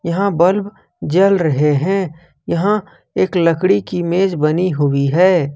यहां बल्ब जल रहे हैं यहां एक लकड़ी की मेज बनी हुई है।